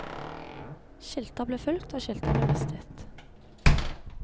Skilter ble fulgt, og skilter ble mistet.